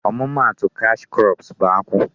Ọmụma atụ cash crops bụ akwụ.